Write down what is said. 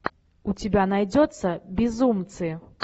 у тебя найдется безумцы